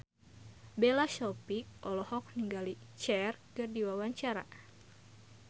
Bella Shofie olohok ningali Cher keur diwawancara